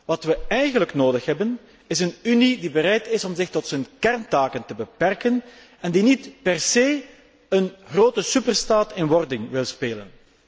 Wat we eigenlijk nodig hebben, is een Unie die bereid is om zich tot haar kerntaken te beperken en die niet per se een grote superstaat in wording wil spelen.